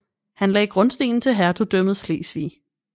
Han lagde grundstenen til hertugdømmet Slesvig